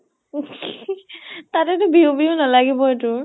তাতে তো বিহু বিহু নালাগিবয়ে তোৰ ?